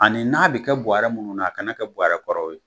Ani n'a bɛ kɛ buɔrɛ minnu na ,a kana kɛ bɔrɛ kɔrɔw ye.